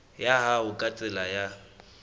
ya hao ka tsela ya